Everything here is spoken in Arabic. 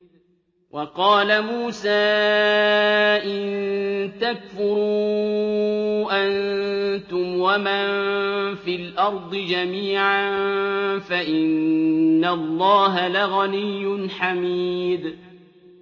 وَقَالَ مُوسَىٰ إِن تَكْفُرُوا أَنتُمْ وَمَن فِي الْأَرْضِ جَمِيعًا فَإِنَّ اللَّهَ لَغَنِيٌّ حَمِيدٌ